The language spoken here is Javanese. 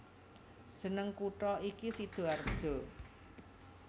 Jeneng kutha iki Sidoarjo